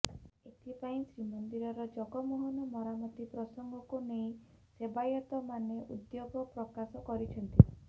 ଏଥିପାଇଁ ଶ୍ରୀମନ୍ଦିର ଜଗମୋହନ ମରାମତି ପ୍ରସଙ୍ଗକୁ ନେଇ ସେବାୟତମାନେ ଉଦ୍ବେଗ ପ୍ରକାଶ କରିଛନ୍ତି